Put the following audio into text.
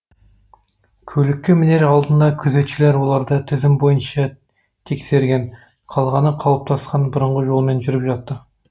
көлікке мінер алдында күзетшілер оларды тізім бойынша тексерген қалғаны қалыптасқан бұрынғы жолымен жүріп жатты